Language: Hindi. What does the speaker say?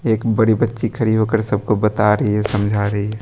एक बड़ी बच्ची खड़ी होकर सबको बता रही है समझा रही है।